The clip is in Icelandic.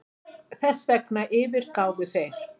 Þessvegna yfirgáfu þeir